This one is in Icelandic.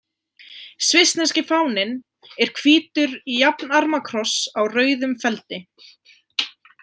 Svissneski fáninn er hvítur jafnarma kross á rauðum feldi.